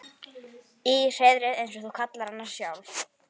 Í hreiðrið eins og þú kallaðir hana sjálf.